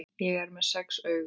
Ég er með sex augu.